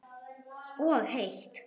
Og heitt.